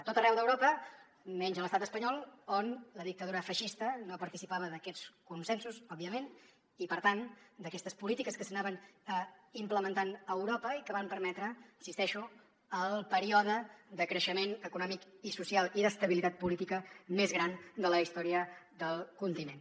a tot arreu d’europa menys a l’estat espanyol on la dictadura feixista no participava d’aquests consensos òbviament i per tant d’aquestes polítiques que s’anaven implementant a europa i que van permetre hi insisteixo el període de creixement econòmic i social i d’estabilitat política més gran de la història del continent